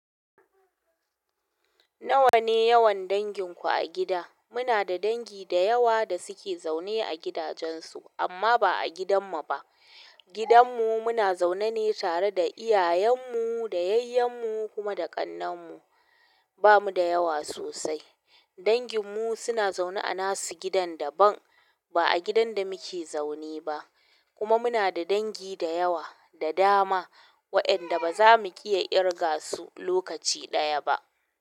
Nawa ne yawan danginku a gida? Muna da dangi da yawa da suke zaune a gidajensu amma ba a gidanmu ba. Gidanmu muna zaune ne tare da iyayenmu, dayayyenmu kuma da ƙannenmu. Ba mu da yawa sosai. Danginmu suna zaune a nasu gidan daban, ba a gidan da muke zaune ba. Kuma muna da dangi da yawa da dama waenda ba za mu iya irga su lokaci ɗaya ba.